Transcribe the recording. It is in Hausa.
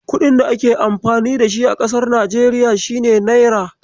Kuɗin da ake amfani da shi a kasar Nijeriya shine Naira.